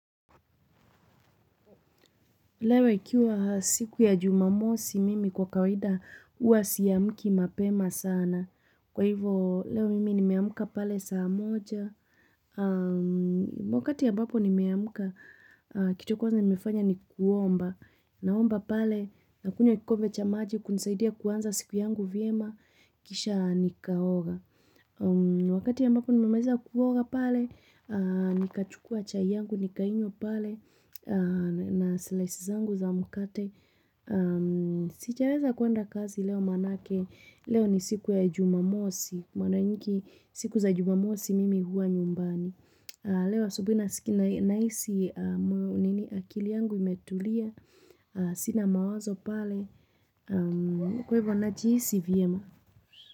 Leo ikiwa siku ya jumamosi mimi kwa kawaida huwa siamki mapema sana. Kwa hivo leo mimi nimeamka pale saa moja. Wakati ambapo nimeamka kitu kwanza nimefanya ni kuomba. Naomba pale na kunywa kikombe cha maji kunisaidia kuanza siku yangu vyema kisha nikaoga. Wakati ya ambapo nimemaliza kuoga pale aahh nikachukua chai yangu, nikainywa pale. Na silaisi zangu za mkate sijaweza kuenda kazi leo manake leo ni siku ya jumamosi. Mara nyingi siku za jumamosi mimi huwa nyumbani. Leo asubuhi na sikia nahisi akili yangu imetulia. Sina mawazo pale. Kwa ivo najihisi vyema.